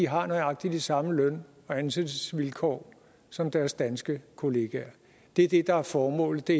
har nøjagtig de samme løn og ansættelsesvilkår som deres danske kollegaer det er det der er formålet det